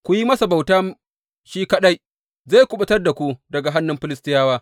Ku yi masa bauta shi kaɗai, zai kuɓutar da ku daga hannun Filistiyawa.